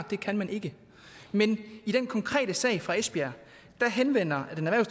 det kan man ikke men i den konkrete sag fra esbjerg henvender